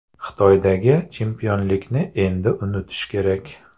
Xitoydagi chempionlikni endi unutish kerak.